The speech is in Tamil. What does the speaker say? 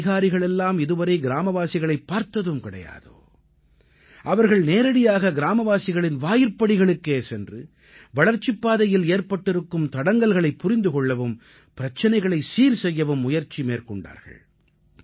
எந்த அதிகாரிகளெல்லாம் இதுவரை கிராமவாசிகளைப் பார்த்ததும் கிடையாதோ அவர்கள் நேரடியாக கிராமவாசிகளின் வாயிற்படிகளுக்கே சென்று வளர்ச்சிப் பாதையில் ஏற்பட்டிருக்கும் தடங்கல்களைப் புரிந்து கொள்ளவும் பிரச்சனைகளைச் சீர் செய்யவும் முயற்சி மேற்கொண்டார்கள்